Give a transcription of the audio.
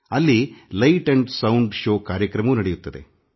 ಅಲ್ಲಿ ಧ್ವನಿ ಬೆಳಕಿನ ಪ್ರದರ್ಶನ ಕಾರ್ಯಕ್ರಮವೂ ನಡೆಯುತ್ತದೆ